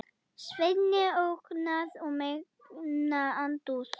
Sveini óhugnað og megna andúð.